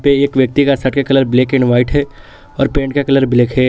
एक व्यक्ति का शर्ट का कलर ब्लैक एंड व्हाइट है और पैंट का कलर ब्लैक है।